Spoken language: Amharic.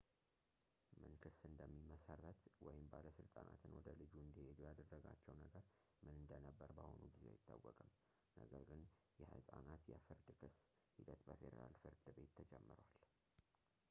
ምን ክስ እንደሚመሰረት ወይም ባለሥልጣናትን ወደ ልጁ እንዲሄዱ ያደረጋቸው ነገር ምን እንደነበር በአሁኑ ጊዜ አይታወቅም ፣ ነገር ግን የሕፃናት የፍርድ ክስ ሂደት በፌዴራል ፍርድ ቤት ተጀምሯል